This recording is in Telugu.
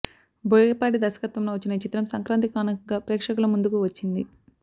బోయపాటి దర్శత్వంలో వచ్చిన ఈ చిత్రం సంక్రాంతి కానుకగా ప్రేక్షకుల ముందుకు వచ్చింది